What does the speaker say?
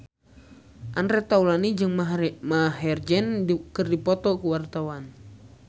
Andre Taulany jeung Maher Zein keur dipoto ku wartawan